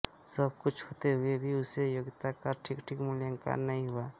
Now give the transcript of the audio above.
सब कुछ होते हुए भी उसकी योग्यता का ठीक ठीक मूल्यांकन नहीं हुआ